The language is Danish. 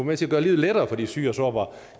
med til at gøre livet lettere for de syge og sårbare